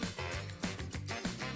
Bir-bir onları qızardırırıq.